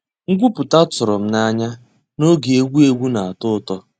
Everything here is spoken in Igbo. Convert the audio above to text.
Nkwúpụ́tá tụ̀rụ̀ n'ànyá n'ògé égwu égwu ná-àtọ́ ụtọ́.